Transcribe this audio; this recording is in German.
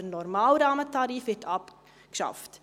Der normale Rahmentarif wird abgeschafft.